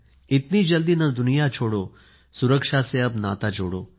इतनी जल्दी न दुनिया छोड़ो सुरक्षा से अब नाता जोड़ो